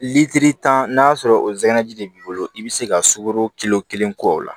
Lilitiri tan n'a sɔrɔ o de b'i bolo i bɛ se ka sukaro kilo kelen k'o la